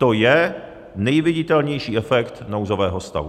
To je nejviditelnější efekt nouzového stavu.